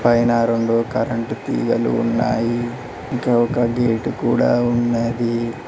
పైన రెండు కరెంటు తీగలు ఉన్నాయి ఇంకా ఒక గేటు కూడా ఉన్నది.